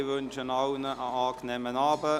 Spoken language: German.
Ich wünsche Ihnen allen einen angenehmen Abend.